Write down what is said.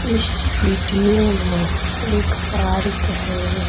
इस वीडियो में एक पार्क है।